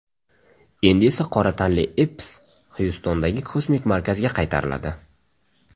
Endi esa qora tanli Epps Xyustondagi kosmik markazga qaytariladi.